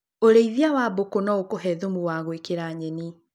ũrĩithia wa Mbũkũ no ũkũhe thumu wa gwĩkĩra nyeni.